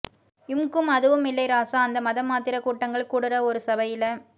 ம்கூம் அதுவும் இல்லை ராசா அந்த மதம் மாத்திற கூட்டங்கள் கூடுற ஒரு சபையில